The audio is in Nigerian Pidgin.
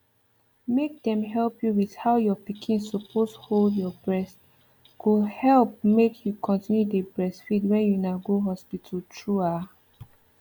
make dem help you with how your pikin suppose hold your breast go help make you continue dey breastfeed when una go hospital true ah